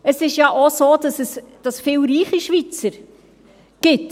Es ist ja auch so, dass es viele reiche Schweizer gibt.